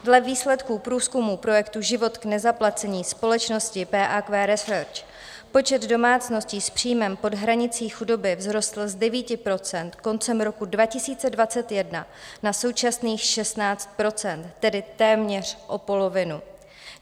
Dle výsledků průzkumu projektu Život k nezaplacení společnosti PAQ Research počet domácností s příjmem pod hranicí chudoby vzrostl z 9 % koncem roku 2021 na současných 16 %, tedy téměř o polovinu.